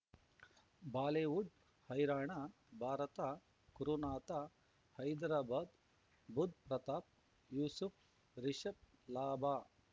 Bollywood ಹೈರಾಣ ಭಾರತ ಗುರುನಾಥ ಹೈದರಾಬಾದ್ ಬುಧ್ ಪ್ರತಾಪ್ ಯೂಸುಫ್ ರಿಷಬ್ ಲಾಭ